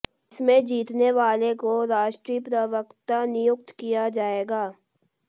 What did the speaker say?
इसमें जीतने वाला को राष्ट्रीय प्रवक्ता नियुक्त किया जाएगा